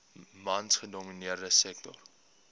mans gedomineerde sektor